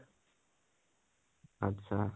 আটচ্চা